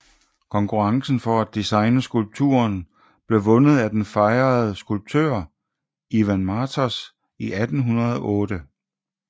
Konkurrencen for at designe skulpturen blev vundet af den fejrede skulptør Ivan Martos i 1808